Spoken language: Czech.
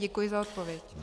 Děkuji za odpověď.